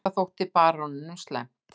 Þetta þótti baróninum slæmt.